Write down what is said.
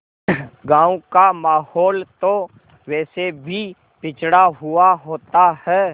गाँव का माहौल तो वैसे भी पिछड़ा हुआ होता है